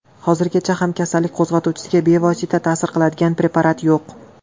Hozirgacha ham kasallik qo‘zg‘atuvchisiga bevosita ta’sir qiladigan preparat yo‘q.